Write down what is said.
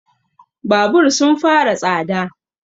Babur sun fara tsada